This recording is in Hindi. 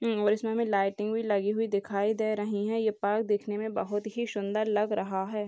उ और इसमें हमें लाइटिंग भी लगी हुई दिखाई दे रहीं हैं ये पार्क देखने में बहुत ही सुंदर लग रहा है।